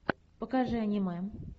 покажи аниме